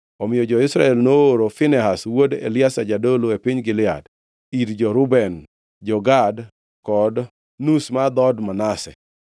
Omiyo jo-Israel nooro Finehas wuod Eliazar jadolo, e piny Gilead, ir jo-Reuben, jo-Gad kod nus mar dhood Manase,